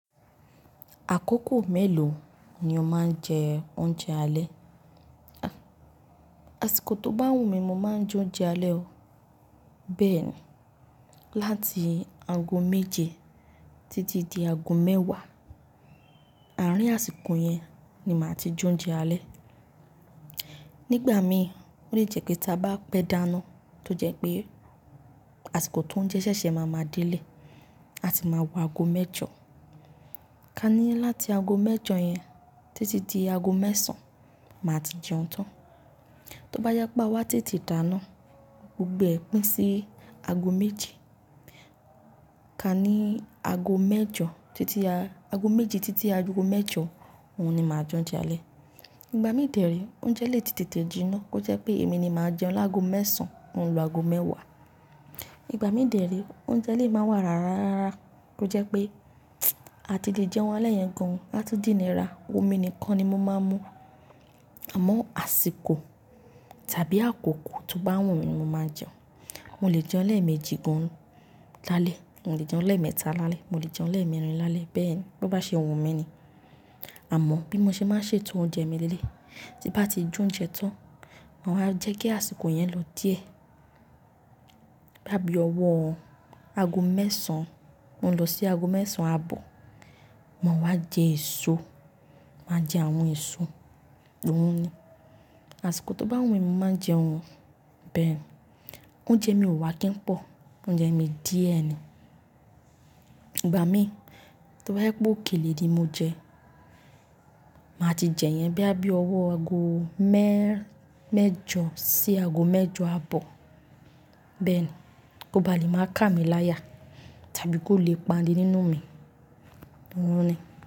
Àkókò mélòó ni o máa ń jẹ oúnjẹ alẹ́? Àsìkò tó bá wù mí, mo máa ń jẹ oúnjẹ alẹ́ ọ, bẹ́ẹ̀ ni. Láti ago méje títí di ago mẹ́wàá, àárín àsìkò yẹn ni màá ti jẹ oúnjẹ alẹ́. Nígbà mi, ó lè jẹ́ pé tí a bá pẹ́ dáná, tó jẹ́ pé àsìkò tó ń jẹ ṣẹ́ṣẹ́ máa máa délé, a tì máa wo ago mẹ́jọ. Ka ní láti ago mẹ́jọ yẹn títí di ago mẹ́sàn-án, màá ti jẹun tán. Tóbá jẹ́ pé a wá tètè dáná, gbogbo ẹ pín sí ago méje. Ka ní ago mẹ́jọ, títí a, ago méje títí a ago mẹ́jọ, òhun ni màá jẹ oúnjẹ alẹ́. Ìgbà mí dẹ̀rí, oúnjẹ lè tètè jiná, kó jẹ́ pé èmi ni màá jẹun lágo mẹ́sàn, ò ń lo ago mẹ́wàá. Ìgbà mí dẹ̀ rí, oúnjẹ lè máa wà rárá rárá, kò jẹ́ pé a ti lè jẹun alẹ́ yẹn gan-an, a tún dínira, omi nìkan ni mo máa ń mú. Àmọ́ àsìkò tàbí àkókò tó bá wù mí, mo máa jẹun. Mo lè jẹun lẹ́ẹ̀méjì gan-an lálẹ́, mo lè jẹun lẹ́ẹ̀mẹ́ta lálẹ́, mo lè jẹun lẹ́ẹ̀mẹ́rin lálẹ́, bẹ́ẹ̀ ni. Bo bá ṣe òun mi ni. Àmọ́ bí mo ṣe máa ń ṣètò oúnjẹ mi lẹ́lẹ̀, tí n bá ti jẹ oúnjẹ tán, mo máa jẹ́ kí àsìkò yẹn lọ díẹ̀. Bóyá bí ọwọ́ ago mẹ́sàn-án ó lọ sí ago mẹ́sàn-án àbọ̀, màá wá jẹ èso, màá jẹ àwọn èso, òhun ni. Àsìkò tó bá wù mí, mo máa jẹun, bẹ́ẹ̀ ni. Oúnjẹ mi ò wà kí n pọ̀, oúnjẹ mi díẹ̀ ni. Ìgbà mí, tó bá jẹ́ pé òkèlè ni mo jẹ, màá ti jẹ yẹn bí a bí ọwọ́ ago mẹ́, mẹ́jọ sí ago mẹ́jọ àbọ̀, bẹ́ẹ̀ ni. Kó ba lè máa ká mi láyà tàbí kó lè pani nínú mi, òhun ni.